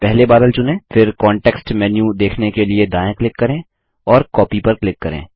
पहले बादल चुनें फिर कॉन्टेक्स्ट मेन्यू देखने के लिए दायाँ क्लिक करें और कॉपी पर क्लिक करें